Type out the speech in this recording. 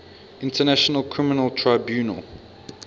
international criminal tribunal